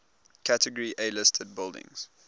category a listed buildings